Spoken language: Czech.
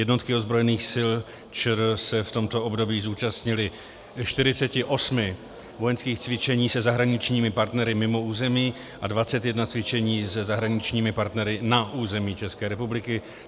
Jednotky ozbrojených sil ČR se v tomto období zúčastnily 48 vojenských cvičení se zahraničními partnery mimo území a 21 cvičení se zahraničními partnery na území České republiky.